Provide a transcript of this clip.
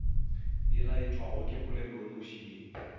e laetšwago ke polelonoši ye